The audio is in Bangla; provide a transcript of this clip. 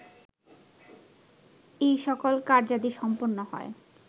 এই সকল কার্যাদি সম্পন্ন হয়